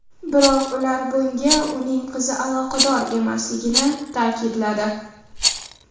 Biroq ular bunga uning qizi aloqador emasligini ta’kidladi.